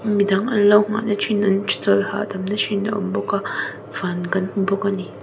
midan anlo nghah na thin an chawlh hahdam na thin a awm bawk a van kan hmu bawk ani.